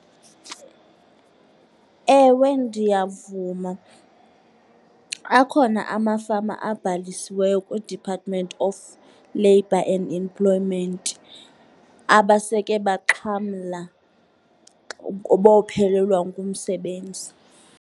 Ewe, ndiyavuma. Akhona amafama abhalisiweyo kwiDepartment of Labour and Employment abaseke baxhamla bophelelwa ngumsebenzi.